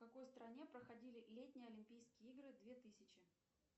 в какой стране проходили летние олимпийские игры две тысячи